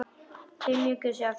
Þeir mjökuðu sér áfram.